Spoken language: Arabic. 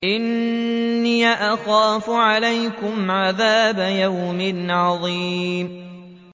إِنِّي أَخَافُ عَلَيْكُمْ عَذَابَ يَوْمٍ عَظِيمٍ